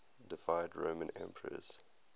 deified roman emperors